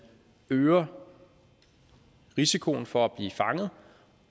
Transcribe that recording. øger risikoen for at blive fanget